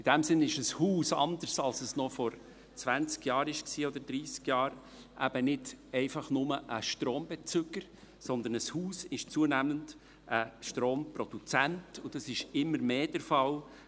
In dem Sinn ist ein Haus, anders als noch vor zwanzig oder dreissig Jahren, nicht einfach nur ein Strombezüger, sondern ein Haus ist zunehmend ein Stromproduzent, und das ist immer mehr der Fall.